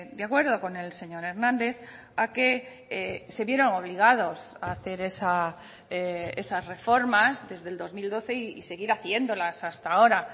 de acuerdo con el señor hernández a que se vieron obligados a hacer esas reformas desde el dos mil doce y seguir haciéndolas hasta ahora